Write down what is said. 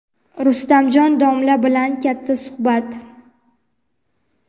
Rustamjon domla bilan katta suhbat.